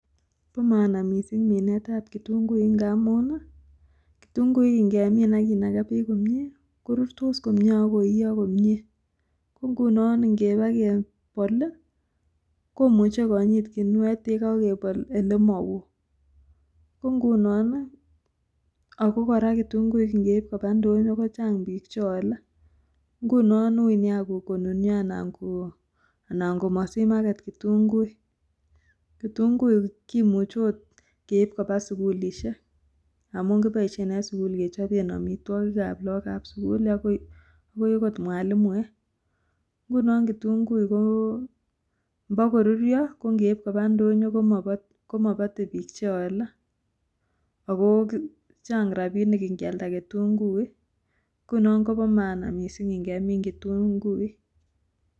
Bo maana mising minetab kitunguik ngamun ii, kitunguik ngemin ak kinaka peek komie, korurtos komie ak koiyo komie, ko ngunon ngeba kebol ii komuche konyit ginuet ye kakebol ele ma woo, ko ngunon ii, ako kora kitunguik ngeip koba ndonyo kochang piik che ole, ngunon uui nea konunyo anan ko komasich market kitunguik, kitunguik kimuchi oot keip koba sukulisiek amun kiboisien en sukul kechoben amitwogikab lagokab sukul akot mwalimuek, ngunon kitunguik ko mbo koruryo ko ngeip koba ndonyo komabate piik che ole, ako chang rabiinik ngyalda kitunguik, nguno koba maana mising ngemin kitunguik.